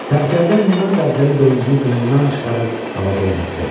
Sərkərdə mina qəbzəli qılıncını qınından çıxarıb havada oynatdı.